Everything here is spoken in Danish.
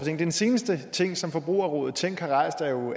den seneste ting som forbrugerrådet tænkt har rejst er jo